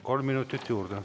Kolm minutit juurde.